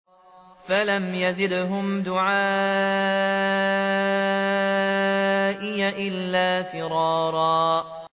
فَلَمْ يَزِدْهُمْ دُعَائِي إِلَّا فِرَارًا